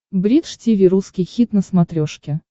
бридж тиви русский хит на смотрешке